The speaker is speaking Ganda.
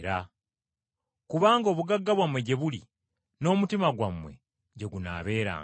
Kubanga obugagga bwo gye buli, n’omutima gwo gye gunaabeeranga.